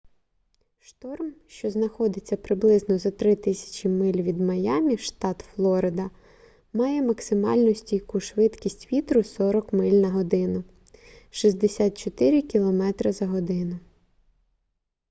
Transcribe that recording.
шторм що знаходиться приблизно за 3000 миль від майамі штат флорида має максимальну стійку швидкість вітру 40 миль на годину 64 км/год